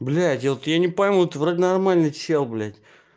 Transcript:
блядь я вот я не пойму ты вроде нормальный человек блядь